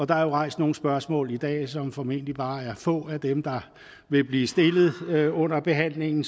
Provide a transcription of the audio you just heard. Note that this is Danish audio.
der er jo rejst nogle spørgsmål i dag som formentlig bare er få af dem der vil blive stillet under behandlingen